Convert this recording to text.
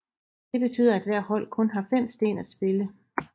Det betyder at hvert hold kun har 5 sten at spille